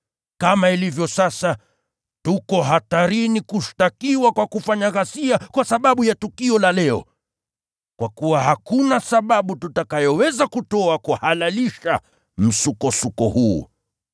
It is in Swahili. Kama ilivyo sasa, tuko hatarini kushtakiwa kwa kufanya ghasia kwa sababu ya tukio la leo. Kwa kuwa hakuna sababu tutakayoweza kutoa kuhalalisha msukosuko huu.”